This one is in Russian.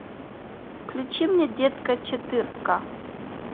включи мне детка четырка